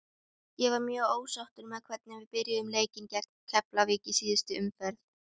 Ég var mjög ósáttur með hvernig við byrjuðum leikinn gegn Keflavík í síðustu umferð.